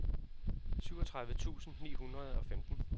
syvogtredive tusind ni hundrede og femten